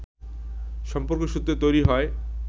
সম্পর্কসূত্রে তৈরি হয়